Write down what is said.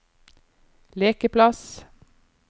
lekeplass